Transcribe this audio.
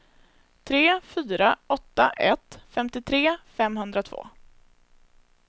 tre fyra åtta ett femtiotre femhundratvå